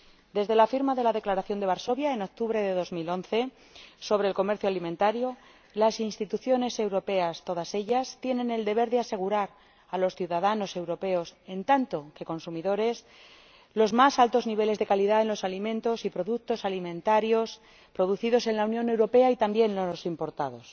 Desde la firma de la Declaración de Varsovia, en octubre de 2011, sobre el comercio alimentario, todas las instituciones europeas tienen el deber de asegurar a los ciudadanos europeos, en cuanto que consumidores, los más altos niveles de calidad en los alimentos y productos alimentarios producidos en la Unión Europea, y también en los importados.